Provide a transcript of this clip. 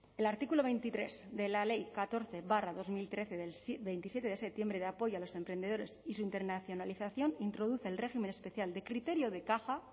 el artículo veintitrés de la ley catorce barra dos mil trece del veintisiete de septiembre de apoyo a los emprendedores y su internacionalización introduce el régimen especial de criterio de caja